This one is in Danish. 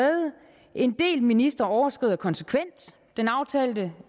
en del ministre overskrider konsekvent den aftalte